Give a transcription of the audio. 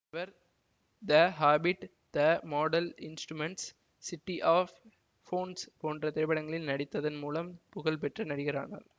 இவர் the Hobbit the Mortal Instruments City of Bones போன்ற திரைப்படங்களில் நடித்ததன் மூலம் புகழ் பெற்ற நடிகர் ஆனார்